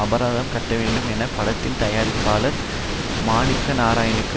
அபராதம் கட்டவேண்டும் என படத்தின் தயாரிப்பாளர் மாணிக்கநாராயணனுக்கு